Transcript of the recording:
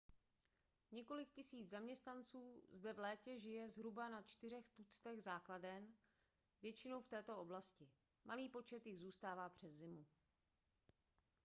několik tisíc zaměstnanců zde v létě žije na zhruba čtyřech tuctech základen většinou v této oblasti malý počet jich zůstává přes zimu